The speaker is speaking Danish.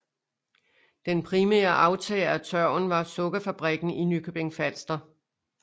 Den primære aftager af tørven var sukkerfabrikken i Nykøbing Falster